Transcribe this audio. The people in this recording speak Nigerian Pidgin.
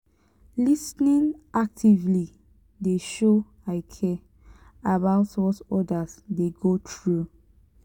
lis ten ing actively dey show i care about what others dey go through.